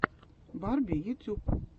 барби ютюб